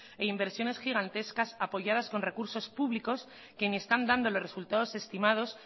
e inversiones gigantescas apoyadas con recursos públicos que ni están dando los resultados estimados